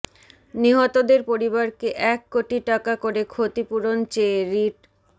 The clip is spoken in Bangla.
নিহতদের পরিবারকে এক কোটি টাকা করে ক্ষতিপূরণ চেয়ে রিট